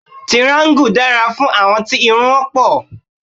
Tiraańgù dára fún àwọn tí irun wọn pọ̀